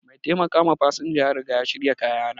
Mai taimakawa fasinja ya riga ya shirya kayana.